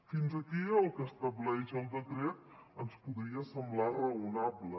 fins aquí el que estableix el decret ens podria semblar raonable